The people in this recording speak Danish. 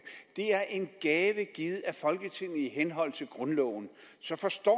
er en gave givet af folketinget i henhold til grundloven så forstår